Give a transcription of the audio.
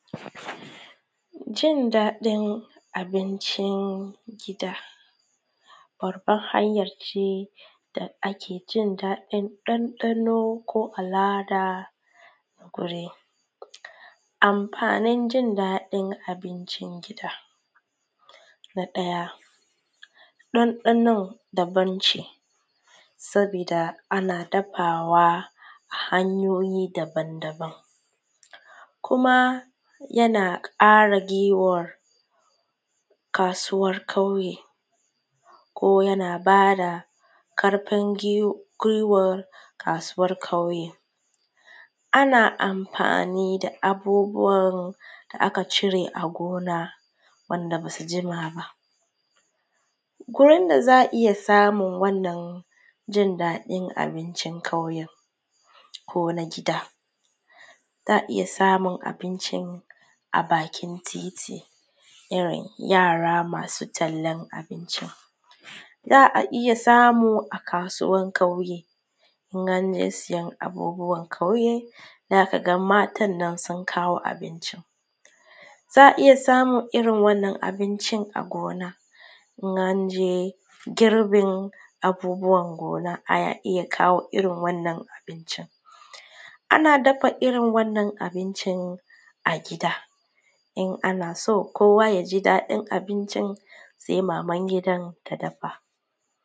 Jin daɗin abincin gida babbar hanya ce da ake jin dadin ɗanɗano ko alama. amfanin jin daɗin abincin gida. Na ɗaya ɗanɗanon daban ce saboda ana dafawa hanyoyin daban-daban ne kuma: yan ƙara guiwar kasuwar ƙauye ko yana ƙara ƙarfi guiwar kasuwar ƙauye, ana amfani da abubuwa amfani gona wanda ba su jima ba ko yadda za a iya samun jin dadin wannan abincin a ƙauyen ko na gida za a iya samun abincin a bakin titi wajen yara masu tallan abinci, za a yi samun a kasuwan ƙauye don sayar abubuwa ƙauye za ka ga matan nan sun kawo abinci. sannan za a iya irin wannan abinci a gonar in an je girbin abubuwa gona in a kawo irin wannan abinci. Ana dafa irin wannan abinci a gida in ana so kowa ya ji dadin abincin sai maman gidan ta dafa.